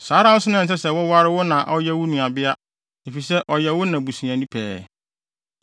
“ ‘Saa ara na ɛnsɛ sɛ woware wo na a ɔyɛ wo na nuabea, efisɛ, ɔyɛ wo na busuani pɛɛ.